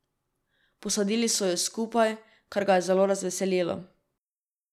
Posadili so ju skupaj, kar ga je zelo razveselilo.